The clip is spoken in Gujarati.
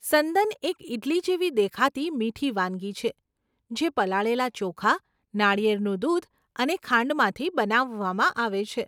સંદન એક ઇડલી જેવી દેખાતી મીઠી વાનગી છે જે પલાળેલા ચોખા, નાળિયેરનું દૂધ અને ખાંડમાંથી બનાવવામાં આવે છે.